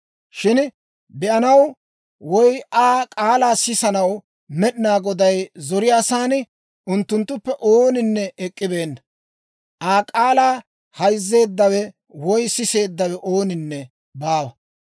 Shin be'anaw woy Aa k'aalaa sisanaw Med'inaa Goday zoriyaasan unttunttuppe ooninne ek'k'ibeenna. Aa k'aalaa hayzzeeddawe woy siseeddawe ooninne baawa.